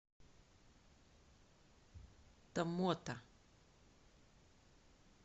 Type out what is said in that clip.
томмота